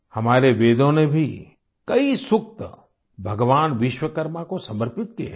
हमारे वेदों ने भी कई सूक्त भगवान विश्वकर्मा को समर्पित किए हैं